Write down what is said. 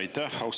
Aitäh!